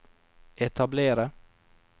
etablere